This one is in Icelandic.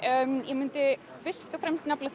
ég myndi fyrst og fremst nefna